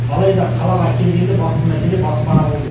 алайда қалаға келгенде басты мәселе баспана болды